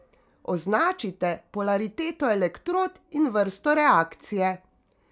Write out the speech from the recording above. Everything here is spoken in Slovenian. Označite polariteto elektrod in vrsto reakcije.